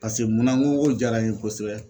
Pase mun na n ko k'o jara n ye kosɛbɛ